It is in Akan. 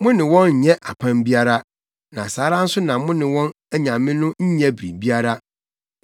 Mo ne wɔn nnyɛ apam biara, na saa ara nso na mo ne wɔn anyame no nnyɛ biribiara.